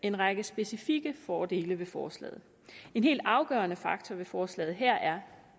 en række specifikke fordele ved forslaget en helt afgørende faktor ved forslaget her er